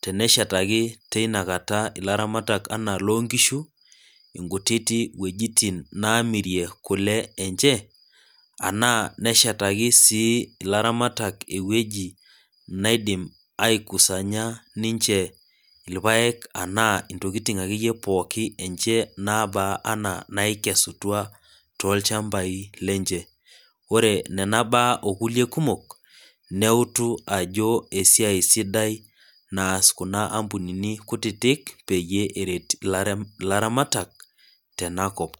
teneshetaki tenakata ilaramatak ana loonkishu nkititik wejitin neemirie kule enche ena neshetaki ilaramatak iwejitin neitumoki ninche aikusanya ntokiting enye anaa irpaek ena ntokiting akeyie pookin enche naba ana naikesutua toolchampai lenche. ore Nena baa ikulie kumok ,neutu ajo esiai sidai naas kuna ampunini kutitik peyei eret ilaramatak tenakop.